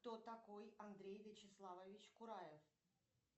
кто такой андрей вячеславович кураев